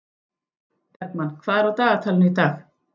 Bergmann, hvað er á dagatalinu í dag?